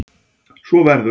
Svo verður áfram.